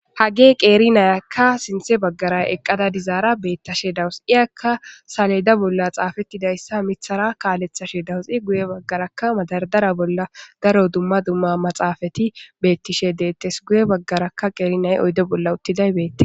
hage qeeri nayakka sinthe baggaray eqqada dizaara beettashe dawus iyakka saleda bolla xaafettidayssa mithara kaalethashe dawusi guye baggaraka madardara bolla daro dumma dumma maxaafati beettishe deettes guye baggarakka qeerinay oydo bolla uttiday beette